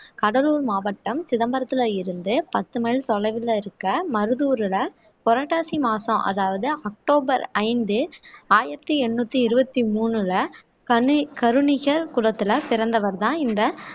கடலூர் மாவட்டம் சிதம்பரத்தில இருந்து பத்து mile தொலைவில இருக்க மருதூர்ல புரட்டாசி மாசம் அதாவது அக்டோபர் ஐந்து ஆயிரத்தி எண்ணூத்தி இருபத்தி மூணுல கணி கருணிக குளத்தில பிறந்தவர்தான் இந்த